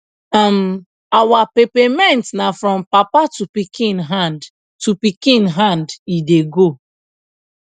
um our peppermint na from papa to pikin hand to pikin hand e dey go